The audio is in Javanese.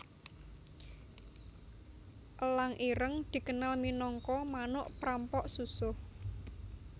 Elang ireng dikenal minangka manuk prampok susuh